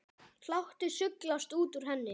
Hlátur sullast út úr henni.